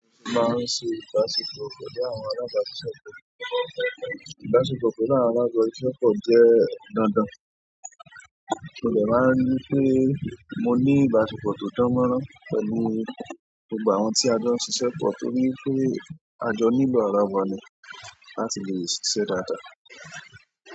A máa ń ṣe ìbáṣepọ̀ pẹ̀lú àwọn alábàásisẹ́pọ̀. Ìbáṣepọ̀ pẹ̀lú àwọn alábàásisẹ́pọ̀ jẹ́ dandan. Mo lè máa rí pé mo ní ìbáṣepọ̀ tó dánmọ́rán pẹ̀lú gbogbo àwọn tí a jọ ṣiṣẹ́ pọ̀ torí pé a jọ ní ìlò àràwà ni láti lè ṣiṣẹ́ dáadáa.